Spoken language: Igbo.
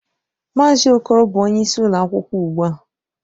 Mazị Okoro bụ onyeisi ụlọ akwụkwọ ugbu a.